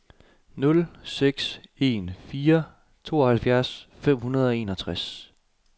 nul seks en fire tooghalvfjerds fem hundrede og enogtres